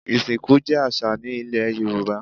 Ìsìnkú jẹ́ àṣà ní ilẹ̀ Yorùbá.